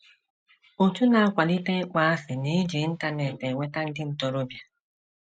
Òtù na - akwalite ịkpọasị na - eji Internet enweta ndị ntorobịa